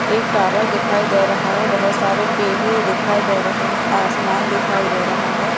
एक टावर दिखाइ दे रहा है बहुत सारे पेड़ें दिखाई दे रहें हैं आसमान दिखाई दे रहा है।